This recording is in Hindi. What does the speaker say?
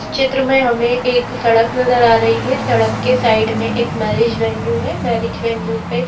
चित्र में हमें एक सड़क नजर आ रही है सड़क के साइड में एक मैरिज वेन्यू है मैरिज वेन्यू पे--